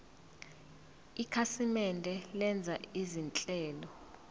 ikhasimende lenza izinhlelo